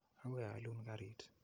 Akoi aalun karit.